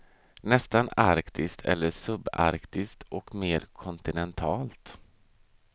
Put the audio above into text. Nästan arktiskt eller subarktiskt och mer kontinentalt.